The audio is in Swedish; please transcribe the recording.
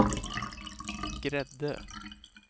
Gräddö